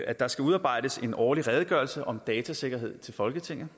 at der skal udarbejdes en årlig redegørelse om datasikkerhed til folketinget